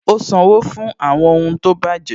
Ó sanwó fún àwọn ohun tó bàjẹ́